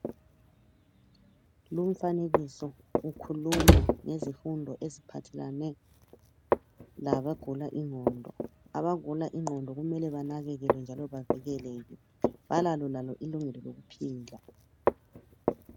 Lumfanekiso ukhuluma ngezifundo eziphathelane labagula ingqondo abagula ingqondo kumele benakekelwe njalo bavikeleke balalo labo ilungelo lokuphila